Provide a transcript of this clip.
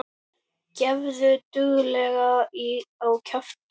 Gefðu duglega á kjaft.